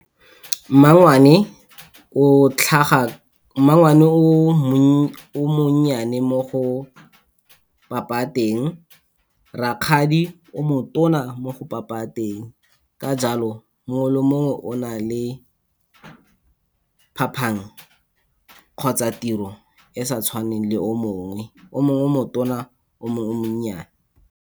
mmangwane o monnyane mo go papa teng, rakgadi o motona mo go papa teng, ka jalo mongwe le mongwe o na le phapang kgotsa tiro e sa tshwaneng le o mongwe, o mongwe o motona o mongwe o monnyane.